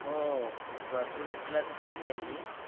हो बाकी विषयला तसच पाहिजे